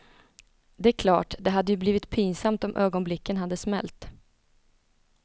Det är klart, det hade ju blivit pinsamt om ögonblicken hade smält.